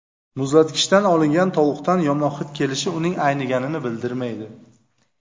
Muzlatkichdan olingan tovuqdan yomon hid kelishi uning ayniganini bildirmaydi.